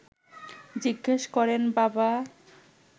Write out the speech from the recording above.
জিজ্ঞেস করেন বাবা